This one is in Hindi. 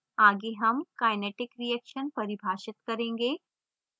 आगे हम kinetic reaction परिभाषित करेंगे